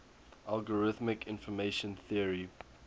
algorithmic information theory